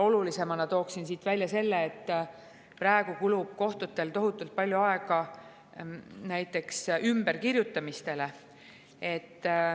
Olulisemana tooksin välja selle, et praegu kulub kohtutel tohutult palju aega näiteks ümberkirjutamisele.